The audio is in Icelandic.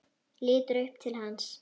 Lítur upp til hans.